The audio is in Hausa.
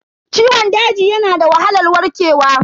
Ciwon daji yana da wahalar warkewa.